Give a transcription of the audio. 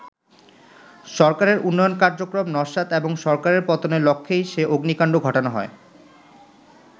সরকারের উন্নয়ন কার্যক্রম নস্যাৎ এবং সরকারের পতনের লক্ষ্যেই সে অগ্নিকাণ্ড ঘটানো হয়।